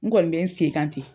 N kɔni bɛ n sen kan ten.